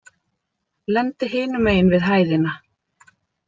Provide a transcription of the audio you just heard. Lendi hinum megin við hæðina.